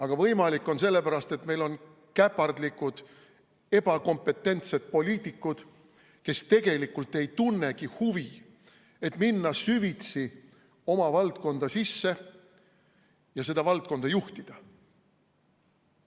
See on võimalik sellepärast, et meil on käpardlikud, ebakompetentsed poliitikud, kes tegelikult ei tunnegi huvi, et minna süvitsi oma valdkonda sisse ja seda valdkonda juhtida.